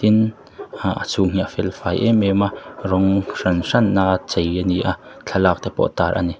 tin ah a chhung hi a fel fai em em a rawng hran hran a chei ani a thlalak te pawh tar ani.